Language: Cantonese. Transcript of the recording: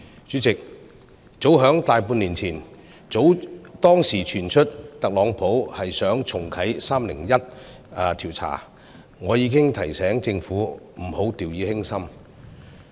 主席，早在大半年前傳出特朗普想重啟 "301 調查"，我已經提醒政府不要掉以輕心。